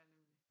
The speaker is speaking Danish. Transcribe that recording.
Ja nemlig